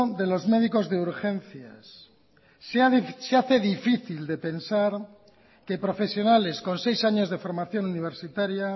de los médicos de urgencias se hace difícil de pensar que profesionales con seis años de formación universitaria